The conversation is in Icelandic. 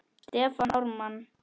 Stefán Ármann.